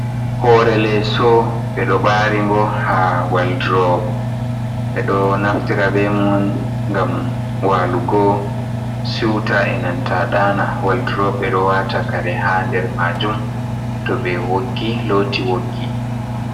Hore leso. Ɓeɗo ɓari ngo ha woldurop. Ɓeɗo naftira be mum ngam walugo siwta, enanta ɗana. Woldurop ɓeɗo wata kare ha nder majum toɓe woggi loti woggi.